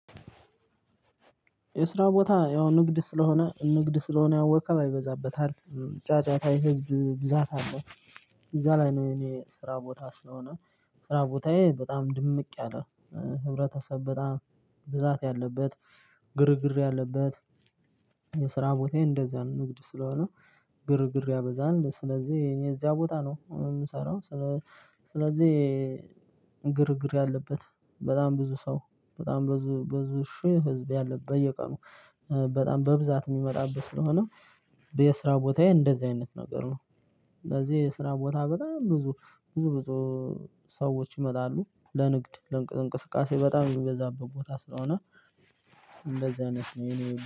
የስራ ቦታ ያው ንግድ ስለሆነ ንግድ ስለሆነ ወከብ ይበዛበታል ጫጫታ የህዝብ ብዛት አለ። እዛ ላይ ነው እኔ ስራ ቦታ ስለሆነ ስራ ቦታዬ በጣም ድምቅ ያለ ህብረተሰብ በጣም ብዛት ያለበት ግርግር ያለበት። የስራ ቦታዬን እንደዛ ነው ንግድ ስለሆነ ግርግር ያበዛል ስለዚህ እኔ እዚያ ቦታ ነው የምሰራው። ስለዚህ ግርግር ያለበት በጣም ብዙ ሰው በጣም ብዙ ብዙ ሺህ ህዝብ ያለበት በየቀኑ በጣም በብዛት ሚመጣበት ስለሆነ የስራ ቦታዬ እንደዚህ አይነት ነገር ነው። ለዚህ ስራ ቦታ በጣም ብዙ ብዙ ብዙ ሰዎች ይመጣሉ ለንግድ ለእንቅስቃሴ በጣም የሚበዛበት ቦታ ስለሆነ። እንደዚህ አይነት ነው የኔ